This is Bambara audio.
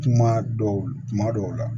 Kuma dɔw kuma dɔw la